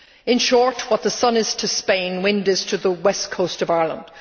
In short, what the sun is to Spain, wind is to the west coast of Ireland.